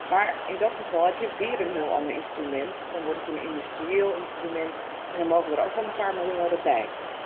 Maar in dat geval heb je weer een heel ander instrument, dan wordt het een industrieel instrument en dan mag er ook wel een paar miljard bij.